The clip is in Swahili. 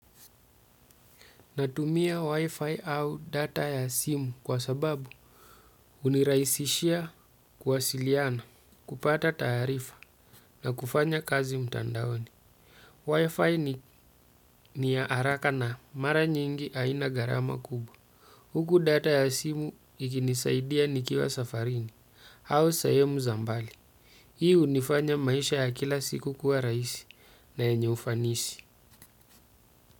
Natumia wi-fi au data ya simu kwa sababu huniraisishia kuwasiliana kupata taarifa na kufanya kazi mtandaoni. Wi-fi ni ya haraka na mara nyingi haina gharama kubwa. Huku data ya simu ikinisaidia nikiwa safarini au sehemu za mbali. Hii hunifanya maisha ya kila siku kuwa rahisi na yenye ufanisi.